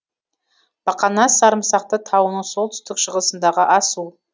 бақанас сарымсақты тауының солтүстік шығысындағы асу